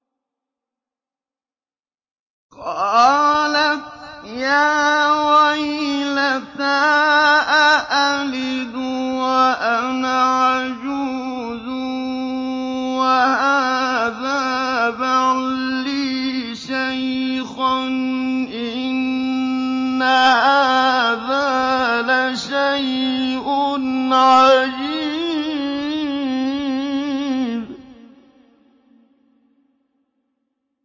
قَالَتْ يَا وَيْلَتَىٰ أَأَلِدُ وَأَنَا عَجُوزٌ وَهَٰذَا بَعْلِي شَيْخًا ۖ إِنَّ هَٰذَا لَشَيْءٌ عَجِيبٌ